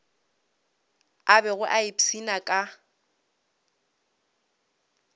a bego a ipshina ka